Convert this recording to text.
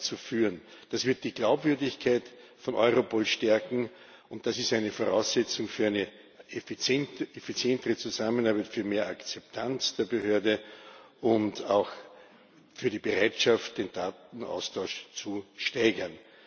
zu führen. Das wird die Glaubwürdigkeit von Europol stärken, und das ist eine Voraussetzung für eine effizientere Zusammenarbeit, für mehr Akzeptanz der Behörde und auch für die Bereitschaft, den Datenaustausch zu steigern.